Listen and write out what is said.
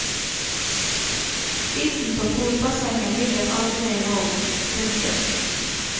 Isen på polbassenget ligger aldri i ro. punktum